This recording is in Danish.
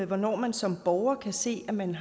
hvornår man som borger kan se at man